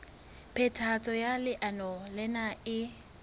phethahatso ya leano lena e